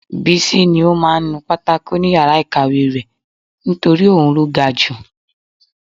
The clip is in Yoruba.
Bísí ní ó máa ń nu pátákò ni yàrá ìkàwé rẹ̀ nítorí òun ló ga ju